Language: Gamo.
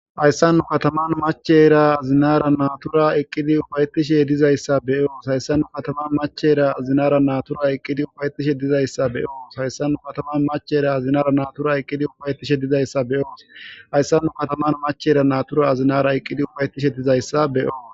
hayssannu kataman machera azinara natura eqqidi ufaytishe dizayssa beyoos hayssannu kataman machera azinara natura eqqidi ufaytishe dizayssa beyoos hayssannu kataman machera azinara natura eqqidi ufayetishe dizayssa beyoos hayssannu kataman machera natura azinara eqqidi ufayetishe dizayssa beyoo